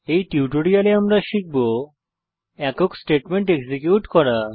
এই টিউটোরিয়ালে আমরা শিখব একক স্টেটমেন্ট এক্সিকিউট করা